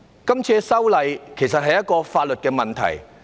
這次修例，其實是一個法律問題。